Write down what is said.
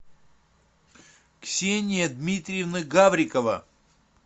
ксения дмитриевна гаврикова